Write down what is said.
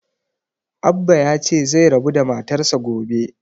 Abbah ya ce zai rabu da matar sa gobe